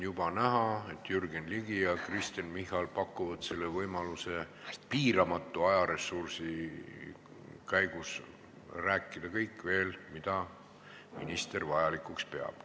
Juba on näha, et Jürgen Ligi ja Kristen Michal pakuvad teile võimaluse piiramatu ajaressursi käigus rääkida veel kõigest, mida vajalikuks peate.